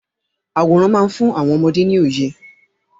Àwòrán má ń fún àwọn ọmọdé ní òye.